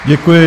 Děkuji.